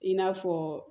I n'a fɔ